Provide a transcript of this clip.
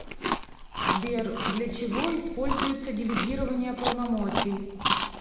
сбер для чего используется делегирование полномочий